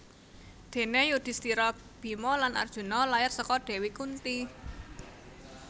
Déné Yudhistira Bima lan Arjuna lair saka Dewi Kunti